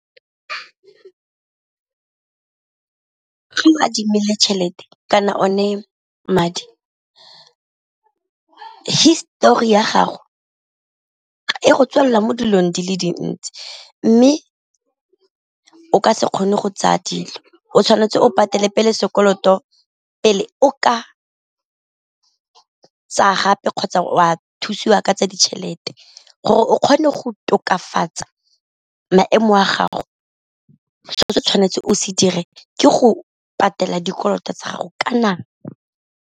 adimile tšhelete kana o ne madi histori ya gago e go tswalela mo dilong di le dintsi, mme o ka se kgone go tsaya dilo o tshwanetse o patele pele sekoloto pele o ka tsaya gape kgotsa o a thusiwa ka tsa ditšhelete. Gore o kgone go tokafatsa maemo a gago seo se o tshwanetseng o se dire ke go patela dikoloto tsa gago ka nako.